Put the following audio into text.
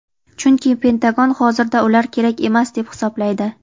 chunki Pentagon hozirda ular kerak emas deb hisoblaydi.